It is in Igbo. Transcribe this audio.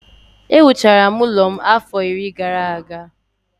Ewuchara m ụlọ m a afọ iri gara aga